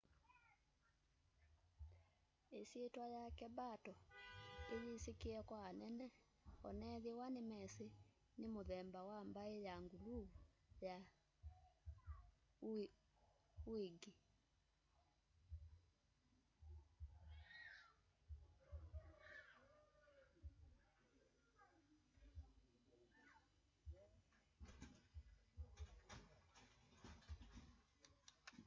isyitwa yake mbato iyisikie kwa anene onethwa nimesi ni mumemba wa mbai ya nguluvu ya uighur